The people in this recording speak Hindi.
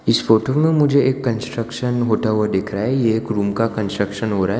इस फोटो में मुझे एक कंस्ट्रक्शन होता हुआ दिख रहा है ये एक रूम का कंस्ट्रक्शन हो रहा है।